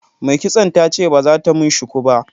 Mai kitson ta ce ba za ta mun shuku ba.